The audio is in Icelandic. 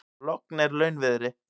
Logn er launviðri.